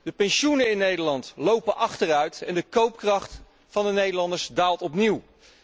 De pensioenen in Nederland lopen achteruit en de koopkracht van de Nederlanders daalt opnieuw.